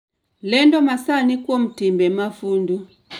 Lendo masani kuom timbe mafundu